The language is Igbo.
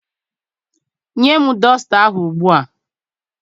Nye m dọsta ahụ ugbu a!